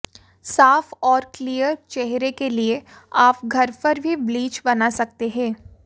साफ और क्लीयर चेहरे के लिए आप घर पर भी ब्लीच बना सकते हैं